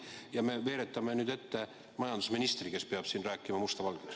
Ja nüüd me veeretame ette majandusministri, kes peab rääkima musta valgeks.